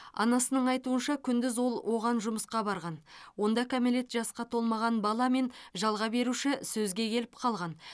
анасының айтуынша күндіз ол оған жұмысқа барған онда кәмелет жасқа толмаған бала мен жалға беруші сөзге келіп қалған